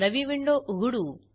नवी विंडो उघडू